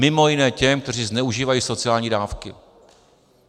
Mimo jiné těm, kteří zneužívají sociální dávky.